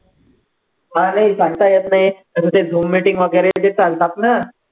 हा नाही सांगता येतं नाही, त्यांचे zoom meeting वैगरे जे चालतात ना